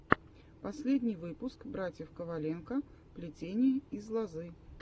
последний выпуск братьев коваленко плетение из лозы